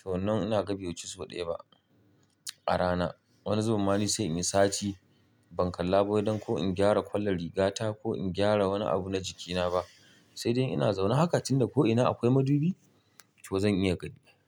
to nan ina ga bai wuci sau daya ba a rana. Wani zabun ma ni sai in yi sati ban kalla ba wai dan ko in gyara kwallon rigata ko in gyara wani abu na jikina ba. Sai dai ina zaune haka tunda ko ina akwai madubi, to zan iya gaɗi.